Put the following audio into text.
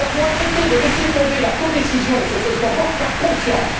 Nous avions accepté de laisser tomber la codécision sur ce tableau de bord par confiance.